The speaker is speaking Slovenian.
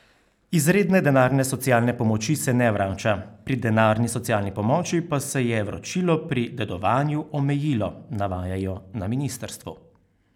Izredne denarne socialne pomoči se ne vrača, pri denarni socialni pomoči pa se je vračilo pri dedovanju omejilo, navajajo na ministrstvu.